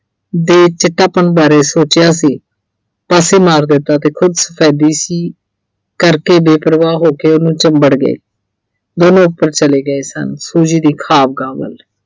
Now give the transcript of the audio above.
ਦੇ ਚਿੱਟਾਪਣ ਬਾਰੇ ਸੋਚਿਆ ਸੀ ਪਾਸੇ ਮਾਰ ਦਿੱਤਾ ਤੇ ਖੁਦ ਕਰਕੇ ਬੇਪ੍ਰਵਾਹ ਹੋ ਕੇ ਉਹਨੂੰ ਚਿੰਬੜ ਗਏ ਦੋਨੋਂ ਉੱਪਰ ਚਲੇ ਗਏ ਸਨ Suji ਦੀ ਖੁਆਬਗਾਹ ਵੱਲ